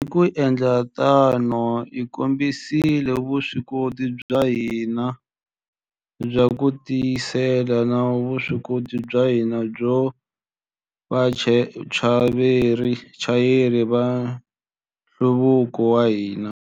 Hi ku endla tano, hi kombisile vuswikoti bya hina bya ku tivuyisela na vuswikoti bya hina byo va vachayeri va nhluvuko wa hina.